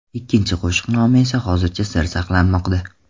Ikkinchi qo‘shiq nomi esa hozircha sir saqlanmoqda.